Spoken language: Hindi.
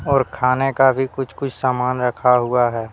और खाने का भी कुछ कुछ सामान रखा हुआ है।